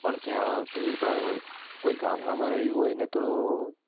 પણ ત્યાં ભીડ ભાડ હોય, કોઈ ગામડા માં રહ્યું હોય ને તો,